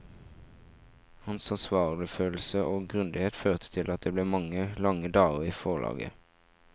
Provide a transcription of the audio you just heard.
Hans ansvarsfølelse og grundighet førte til at det ble mange lange dager i forlaget.